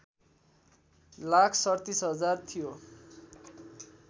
लाख ३७ हजार थियो